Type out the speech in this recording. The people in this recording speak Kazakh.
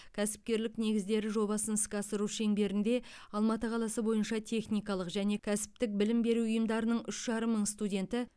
кәсіпкерлік негіздері жобасын іске асыру шеңберінде алматы қаласы бойынша техникалық және кәсіптік білім беру ұйымдарының үш жарым мың мың студенті